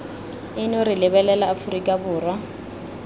eno re lebelela aforika borwa